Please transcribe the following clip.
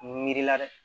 Mi miri la dɛ